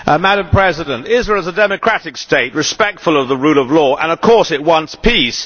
Madam President, Israel is a democratic state respectful of the rule of law, and of course it wants peace.